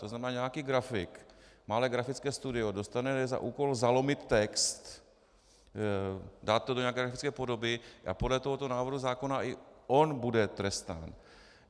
To znamená, nějaký grafik, malé grafické studio dostane za úkol zalomit text, dát to do nějaké grafické podoby a podle tohoto návrhu zákona i on bude trestán.